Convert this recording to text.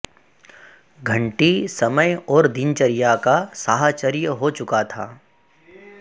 घंटी समय और दिनचर्या का साहचर्य हो चुका था